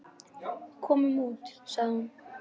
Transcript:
Komum út, sagði hún.